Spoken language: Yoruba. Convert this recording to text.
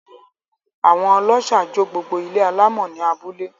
Àwón ọlọ́ṣà jó gbogbo ilé alámọ̀ ní abúlé.